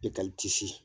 E ka